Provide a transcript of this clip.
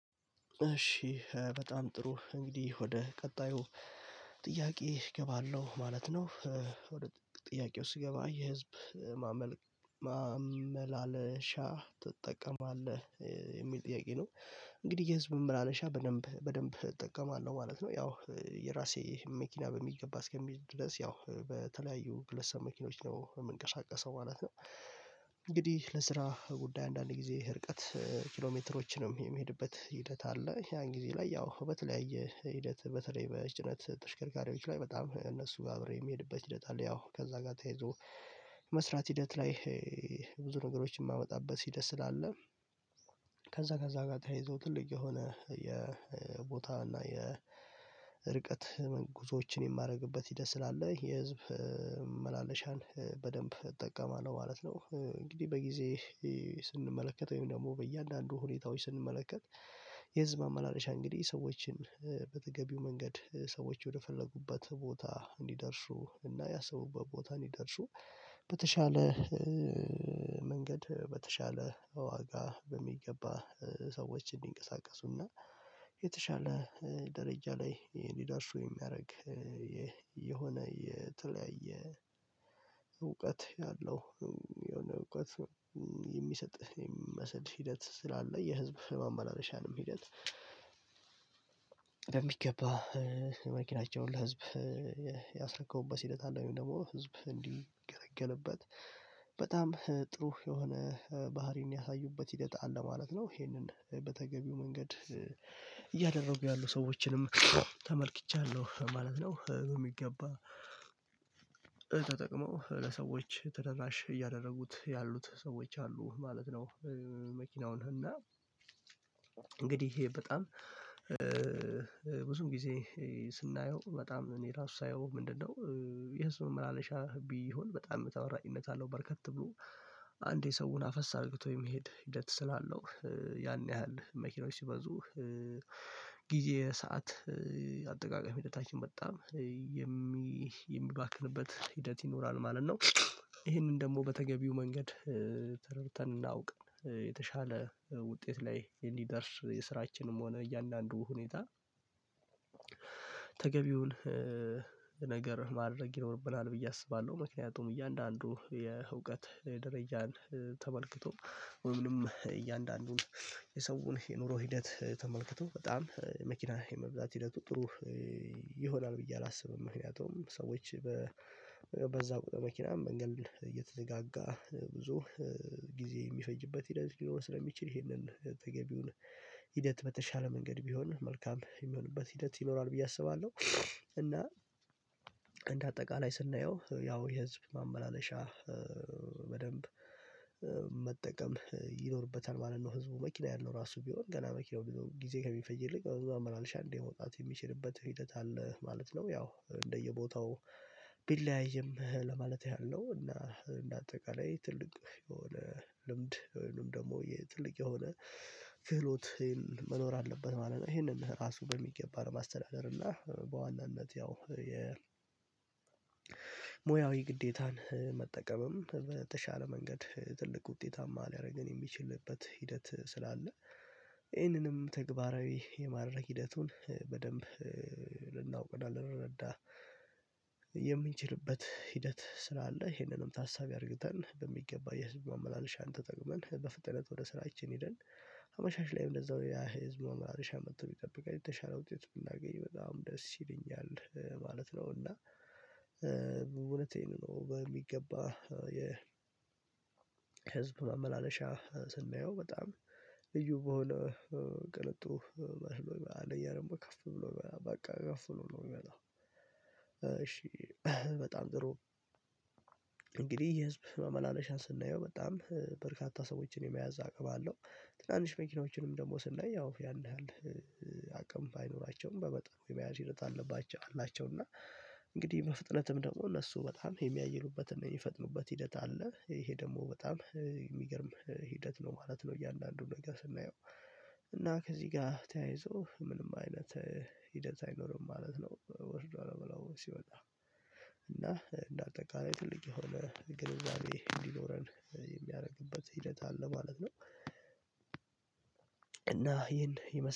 እሺ በጣም ጥሩ፣ እንግዲህ ወደ ቀጣዩ ጥያቄ እገባለሁ ማለት ነው፤ ወደ ጥያቄው ስገባ የህዝብ ማመላለሻ ትጠቀማለህ?? የሚል ጥያቄ ነው። እንግዲህ የህዝብ ማመላለሻ በደንብ በደንብ እጠቀማለሁ ማለት ነው፤ ያው የራሴ መኪና በሚገባ እስከምይዝ ድረስ ያው በተለያዩ ግለሰብ መኪኖች ነው የምንቀሳቀሰው ማለት ነው፤ እንግዲህ ለስራ ጉዳይ አንዳንድ ጊዜ ርቀት ኪሎ ሜትሮችንም የሚሄድበት ሂደት አለ፤ ያን ጊዜ ላይ ያው በተለያየ ሂደት፣ በተለይ በጭነት ተሽከርካሪዎች ላይ በጣም እነሱ ጋር አብረው የሚሄድበት ሂደት አለ፣ ያው ከዛ ጋር ተያይዞ መስራት ሂደት ላይ ብዙ ነገሮችን የማመጣበት ሂደት ስላለ ከዛ ከዛ ጋር ተያይዞ ትልቅ የሆነ የቦታ እና የርቀት መንግስቶችን የማደርግበት ሂደት ስላለ የህዝብ መመላለሻን በደንብ እጠቀማለሁ ማለት ነው፤ እንግዲህ በጊዜ ስንመለከት ወይም ደግሞ በእያንዳንዱ ሁኔታዎች ስንመለከት፣ የህዝብ ማመላለሻ እንግዲህ ሰዎችን በተገቢው መንገድ ሰዎች ወደፈለጉበት ቦታ እንዲደርሱ እና ያሰቡበት ቦታ ይደርሱ በተሻለ መንገድ በተሻለ ዋጋ በሚገባ ሰዎች እንዲንቀሳቀሱና የተሻለ ደረጃ ላይ እንዲደርሱ የሚያደርግ የሆነ የተለያየ እውቀት ያለው የሆነ እውቀት የሚሰጥህ የሚመስል ሂደት ስላለ የህዝብ ማመላለሻንም የሚገዛ" በሚገባ መኪናቸውን ለሕዝብ ያስረከቡበት ሁኔታ ደግሞ፣ ሕዝቡ እንዲገለገልበት አስችሏል በጣም ጥሩ የሆነ ባህሪን ያሳዩበት ሂደት አለ ማለት ነው፤ ይሄንን በተገቢው መንገድ እያደረጉ ያሉ ሰዎችንም ተመልክቻለሁ ማለት ነው፣ የሚገባ ተጠቅሞ ለሰዎች ተደራሽ እያደረጉት ያሉት ሰዎች አሉ ማለት ነው። መኪናውን እና እንግዲህ ይሄ በጣም ብዙም ጊዜ ስናየው፣ በጣም እኔ ራሴ ሳየው ምንድነው የህዝብ ማመላለሻ ቢሆን በጣም ተመራጭነት አለው፣ በርከት ብሎ አንዴ ሰውን አፈስ አድርጎ የመሄድ ሂደት ስላለው፣ ያን ያህል መኪኖች ሲበዙ ጊዜ ሰዓት አጠቃቀም ሂደታችን፣ በጣም የሚባክንበት ሂደት ይኖራል ማለት ነው።"። ይሄንን ደግሞ በተገቢው መንገድ ተረድተን እናውቅ የተሻለ ውጤት ላይ እንዲደርስ የስራችንም ሆነ እያንዳንዱ ሁኔታ ተገቢውን ገር ማድረግ ይኖርብናል ብዬ አስባለሁ፤ ምክንያቱም እያንዳንዱ የእውቀት ደረጃን ተመልክቶ ወይም እያንዳንዱን የሰውን የኑሮ ሂደት ተመልክቶ፣ በጣም መኪና የመብዛት ሂደቱ ጥሩ ይሆናል ብዬ አላስብም፣ ምክንያቱም ሰዎች በዛ ቁጥር መኪናም መንገድ እየተዘጋጋ ብዙ ጊዜ የሚፈጅበት ሂደት ሊሆን ስለሚችል፣ ይሄንን ተገቢውን ሂደት በተሻለ መንገድ ቢሆን መልካም የሚሆንበት ሂደት ይኖራል ብዬ አስባለሁ፣ እና እንደ አጠቃላይ ስናየው፣ ያው የህዝብ ማመላለሻ በደንብ መጠቀም ይኖርበታል ማለት ነው ሕዝቡ፤ መኪና ያለው ራሱ ቢሆን ገና መኪና ጊዜ ከሚፈጅበት ብዙ አመላልሶ አንዴ መውጣት የሚችልበት ሁኔታ አለ ማለት ነው፣ ያው እንደየቦታው ቢለያይም ለማለት ያህል ነው፤ እና እንደ አጠቃላይ ትልቅ የሆነ ልምድ ወይም ደግሞ ትልቅ የሆነ ክህሎት መኖር አለበት ማለት ነው፣ ይሄንን ራሱ በሚገባ ለማስተዳደር፤ እና በዋናነት ያው የሙያዊ ግዴታን መጠቀምም በተሻለ መንገድ ትልቅ ውጤታማ ሊያደርገን የሚችልበት ሂደት ስላለ፣ ይህንንም ተግባራዊ የማድረግ ሂደቱን በደንብ ልናውቀው፣ ልንረዳ የምንችልበት ሂደት ስላለ፤ ይሄንንም ታሳቢ አድርገን በሚገባ የህዝብ ማመላለሻን ተጠቅመን፣ በፍጥነት ወደ ስራችን ሄደን አመሻሽ ላይ እንደዛው ያ የህዝብ ማመላለሻ መጥቶ ቢጠብቀን፣ የተሻለ ውጤት ብናገኝ በጣም ደስ ይለኛል ማለት ነው፤ እና እውነቴን ነው፣ በሚገባ የ ህዝብ ማመላለሻ ስናየው በጣም ልዩ በሆነ ቅንጡ መስሎ፣ አንደኛም ደግሞ ከፍ ብሎ በቃ ከፍ ብሎ ነው የሚመጣው፤ እሺ በጣም ጥሩ።"። እንግዲህ የህዝብ መመላለሻን ስናየው፣ በጣም በርካታ ሰዎችን የመያዝ አቅም አለው፤ ትናንሽ መኪኖችንም ደግሞ ስናይ፣ ያው ያን ያህል አቅም ባይኖራቸውም በመጠኑ የመያዝ ሂደት አለባቸው አላቸው፣ እና ነገር ማድረግ ይኖርብናል ብዬ አስባለሁ፤ ምክንያቱም እያንዳንዱ የእውቀት ደረጃን ተመልክቶ ወይም እያንዳንዱን የሰውን የኑሮ ሂደት ተመልክቶ፣ በጣም መኪና የመብዛት ሂደቱ ጥሩ ይሆናል ብዬ አላስብም፣ ምክንያቱም ሰዎች እና እንደ አጠቃላይ ትልቅ የሆነ ግንዛቤ እንዲኖረን የሚያደርግበት ሂደት አለ ማለት ነው፤ እና ይሄን ይመስለኛል።